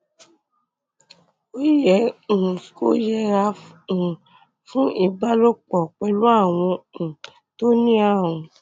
ó yẹ um kó yẹra um fún ìbálòpọ pẹlú àwọn um tó ní ààrùn